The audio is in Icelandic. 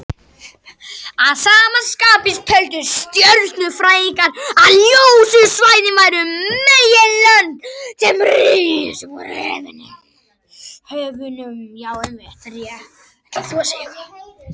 Að sama skapi töldu stjörnufræðingarnir að ljósu svæðin væru meginlönd sem risu upp úr höfunum.